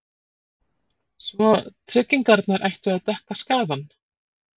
Svo tryggingarnar ættu að dekka skaðann?